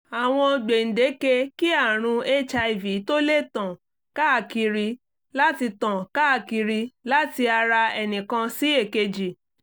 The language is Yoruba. àwọn gbèǹdeke kí àrùn hiv tó lè tàn káàkiri láti tàn káàkiri láti ara ẹnìkan sí èkejì